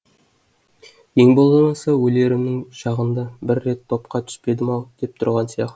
ең болмаса өлерімнің шағында бір рет топқа түспедім ау деп тұрған сияқты